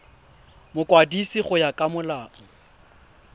mokwadisi go ya ka molao